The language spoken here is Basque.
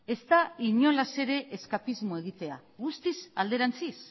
ez da inolaz ere eskapismo egitea guztiz alderantziz